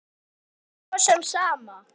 Mér er svo sem sama.